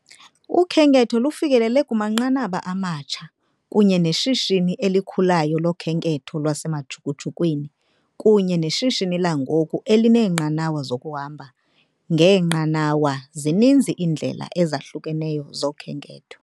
Ukhenketho lufikelele kumanqanaba amatsha kunye neshishini elikhulayo lokhenketho lwasemajukujukwini kunye neshishini langoku elineenqanawa zokuhamba ngenqanawa, zininzi iindlela ezahlukeneyo zokhenketho.